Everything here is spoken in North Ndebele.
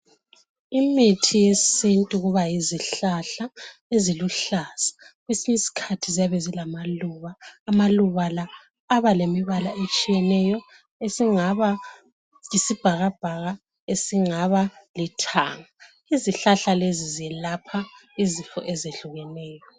Imithi yesintu kuba yizihlahla eziluhlaza. Kwesinyiskhathi ziyabe zilamaluba. Amaluba la abalemibala etshiyeneyo esingaba yisibhakabhaka esingaba lithanga. Izihlahla lezi zelapha izifo ezehlukeneyo.